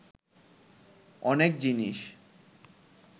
অনেক জিনিস